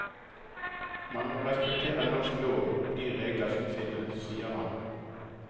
Man må respektere norsk lov og de regler som finnes, sier han.